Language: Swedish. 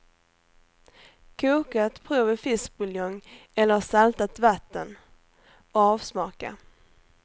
Koka ett prov i fiskbuljong eller saltat vatten och avsmaka.